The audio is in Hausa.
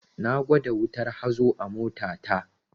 Na gwada wutar hazo a mota ta